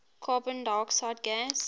carbon dioxide gas